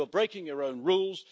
You're breaking your own rules.